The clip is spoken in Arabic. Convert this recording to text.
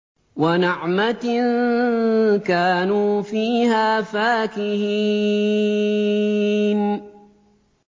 وَنَعْمَةٍ كَانُوا فِيهَا فَاكِهِينَ